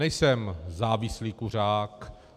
Nejsem závislý kuřák.